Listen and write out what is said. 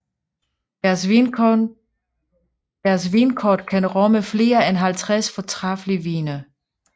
Deres vinkort kan rumme flere end 50 fortræffelige vine